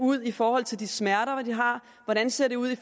ud i forhold til de smerter de har hvordan det ser ud i